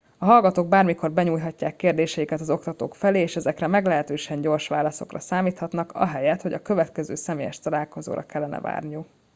a hallgatók bármikor benyújthatják kérdéseiket az oktatók felé és ezekre meglehetősen gyors válaszokra számíthatnak ahelyett hogy a következő személyes találkozóra kellene várniuk